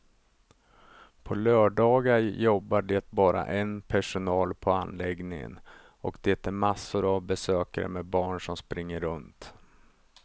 På lördagar jobbar det bara en personal på anläggningen och det är massor av besökare med barn som springer runt.